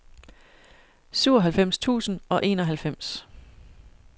syvoghalvfems tusind og enoghalvfems